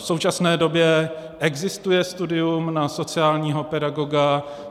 V současné době existuje studium na sociálního pedagoga.